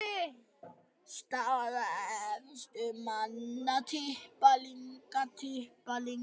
Staða efstu manna